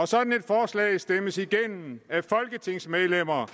sådan et forslag stemmes igennem af folketingsmedlemmer